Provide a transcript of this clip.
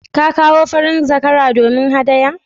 Ka kawo farin zakara domin haɗaya?